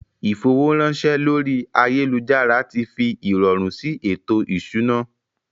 Ìfowóránṣẹ́ lórí ayélujára ti fi ìrọ̀rùn sí ètò ìṣúná